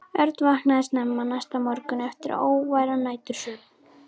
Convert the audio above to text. Örn vaknaði snemma næsta morgun eftir óværan nætursvefn.